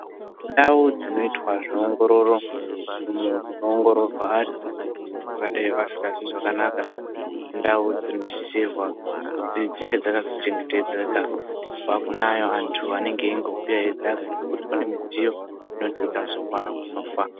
Ndau dzinoitwa zveungororo, munzvimbo dzinoongororwa vantu vangadai vasingazwi zvakanaka, ndau dzinosisirwa kuti dzinge dzakazochengetedzeka kubva kune ayo antu anenge eingo kwira achidzika ngekuti kune midziyo inoti ikazowa inofa.